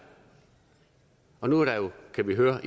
og nu kan vi jo